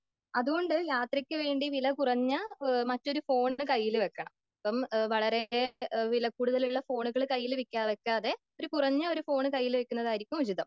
അതുകൊണ്ട് യാത്രക്ക് വേണ്ടി വിലകുറഞ്ഞ മറ്റൊരു ഫോൺ കയ്യിൽ വെക്കണം.ഇപ്പോൾ വളരെ വില കൂടുതലുള്ള ഫോണുകൾ കയ്യിൽ വെക്കാതെ വില കുറഞ്ഞൊരു ഫോൺ കയ്യിൽ വെക്കുന്നതായിരിക്കും ഉചിതം.